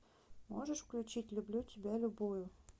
можешь включить люблю тебя любую